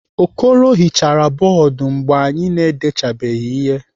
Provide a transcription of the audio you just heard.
Okoro hichara bọọdụ mgbe anyị na-edechabeghị ihe.